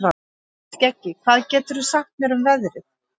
Skeggi, hvað geturðu sagt mér um veðrið?